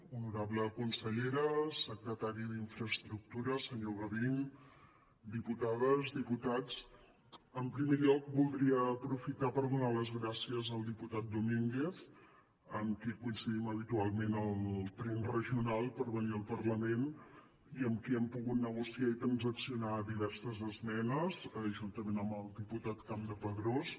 honorable consellera secretari d’infraestructures senyor gavín diputades diputats en primer lloc voldria aprofitar per donar les gràcies al diputat domínguez amb qui coincidim habitualment al tren regional per venir al parlament i amb qui hem pogut negociar i transaccionar diverses esmenes juntament amb el diputat campdepadrós